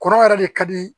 Kɔrɔ yɛrɛ de ka di